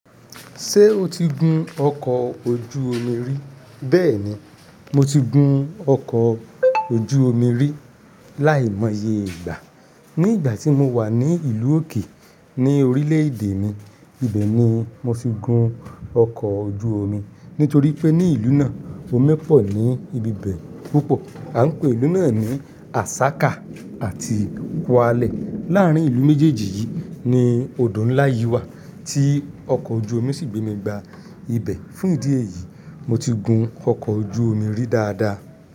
Ṣé o ti gun ọkọ̀ ojú omi rí? Bẹ́ẹ̀ni, mo ti gun ọkọ̀ ojú omi rí láìmọye ìgbà. Ní ìgbà tí mo wà ní ìlú òkè ní orílẹ̀-èdè mi, ibẹ̀ ni mo ti gun ọkọ̀ ojú omi. Nítorípé ní ìlú náà omi pọ̀ púpọ̀ ní ibi bẹ̀ a un pè ìlú náà ní asaka àti kwale. Láàárín ìlú méjèèjì yìí ni odò ńlá yí wà tí ọkọ̀ ojú omi sì gbé mi gba ibẹ̀. Fún ìdí èyí, mo ti gun ọkọ̀ ojú omi rí dáadáa.